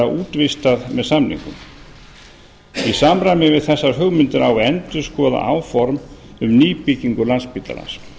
útvistað með samningum í samræmi við þessar hugmyndir á að endurskoða áform um nýbyggingu landspítalans